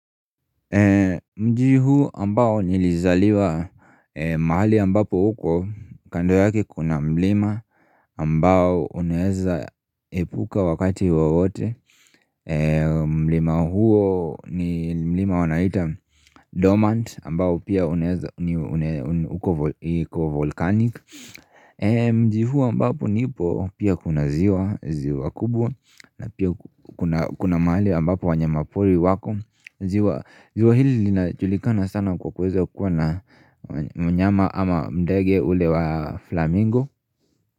Mji huu ambao nilizaliwa mahali ambapo huko kando yake kuna mlima ambao uneeza epuka wakati wowote mlima huo ni mlima wanaita dormant ambao pia uneeza uko volcanic Mji huu ambapo nipo pia kuna ziwa kubwa na pia kuna mahali ambapo wanyamapori wako ziwa hili linajulikana sana kwa kuweza kuwa na mnyama ama ndege ule wa flamingo.